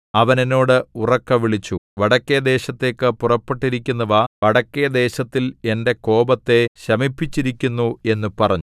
അവൻ എന്നോട് ഉറക്കെ വിളിച്ചു വടക്കെ ദേശത്തേക്ക് പുറപ്പെട്ടിരിക്കുന്നവ വടക്കെ ദേശത്തിൽ എന്റെ കോപത്തെ ശമിപ്പിച്ചിരിക്കുന്നു എന്നു പറഞ്ഞു